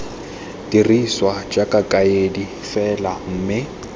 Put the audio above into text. dirisiwa jaaka kaedi fela mme